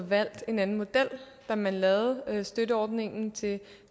valgt en anden model da man lavede støtteordningen til